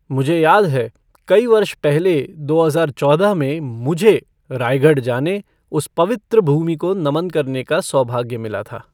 मुझे याद है, कई वर्ष पहले दो हजार चौदह में, मुझे, रायगढ़ जाने, उस पवित्र भूमि को नमन करने का सौभाग्य मिला था।